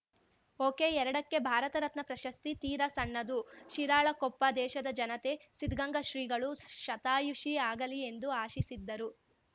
ಒಕೆಎರ್ಡಕ್ಕೆ ಭಾರತರತ್ನ ಪ್ರಶಸ್ತಿ ತೀರಾ ಸಣ್ಣದು ಶಿರಾಳಕೊಪ್ಪ ದೇಶದ ಜನತೆ ಸಿದ್ದಗಂಗಾ ಶ್ರೀಗಳು ಶತಾಯುಷಿ ಆಗಲಿ ಎಂದು ಆಶಿಸಿದ್ದರು